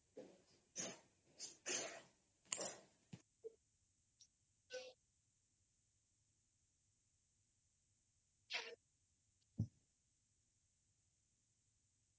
noise